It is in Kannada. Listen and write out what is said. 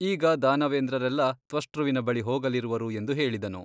ಈಗ ದಾನವೇಂದ್ರರೆಲ್ಲಾ ತ್ವಷ್ಟೃವಿನ ಬಳಿ ಹೋಗಲಿರುವರು ಎಂದು ಹೇಳಿದನು.